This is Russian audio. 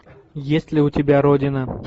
есть ли у тебя родина